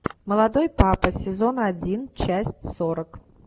молодой папа сезон один часть сорок